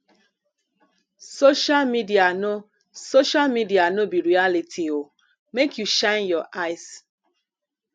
social media no social media no be reality o make you shine your eyes